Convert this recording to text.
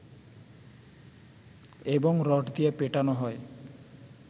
এবং রড দিয়ে পেটানো হয়